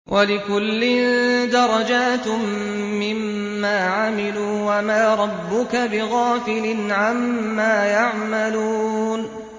وَلِكُلٍّ دَرَجَاتٌ مِّمَّا عَمِلُوا ۚ وَمَا رَبُّكَ بِغَافِلٍ عَمَّا يَعْمَلُونَ